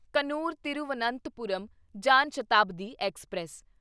Kannur Thiruvananthapuram Jan Shatabdi express